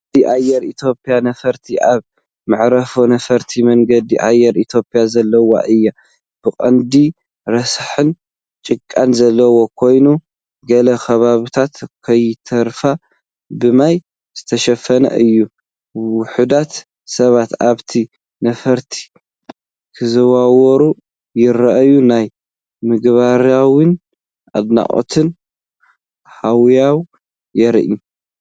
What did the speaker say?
መንገዲ ኣየር ኢትዮጵያ ነፋሪት ኣብ መዓርፎ ነፈርቲ መንገዲ ኣየር ኢትዮጵያ ዘለዋ እያ። ብቐንዱ ረሳሕን ጭቃን ዘለዎ ኮይኑ፡ ገለ ከባቢታት ከይተረፈ ብማይ ዝተሸፈነ እዩ። ውሑዳት ሰባት ኣብታ ነፋሪት ክዘዋወሩ ይረኣዩ። ናይ ምግራምን ኣድናቖትን ሃዋህው የርኢ።